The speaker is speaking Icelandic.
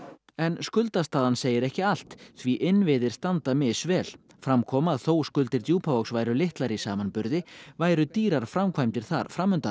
skuldastaðan segir ekki allt því innviðir standa misvel fram kom að þó skuldir Djúpavogs væru litlar í samanburði væru dýrar framkvæmdir þar